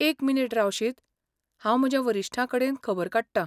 एक मिनीट रावशीत, हांव म्हज्या वरिश्ठां कडेन खबर काडटां.